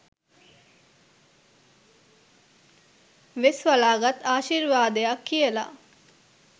වෙස්වළා ගත් ආශිර්වාදයක් කියලා.